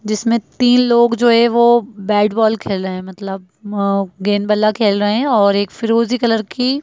जिसमें तीन लोग जो है वो बैट बॉल खेल रहें हैं मतलब गेंद बल्ला खेल रहे है और एक फिरोज़ी कलर की--